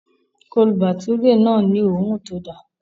Chole Bhature náà ni òórùn tó da